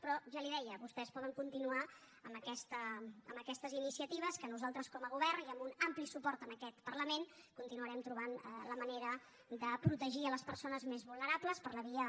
però ja li ho deia vostès poden continuar amb aquestes iniciatives que nosaltres com a govern i amb un ampli suport en aquest parlament continuarem trobant la manera de protegir les persones més vulnerables per la via